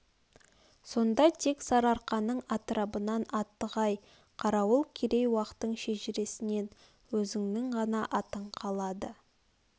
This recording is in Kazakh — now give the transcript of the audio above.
сонда тек сарыарқаның атрабынан атығай қарауыл керей уақтың шежіреснен өзіңнің ғана атың қалады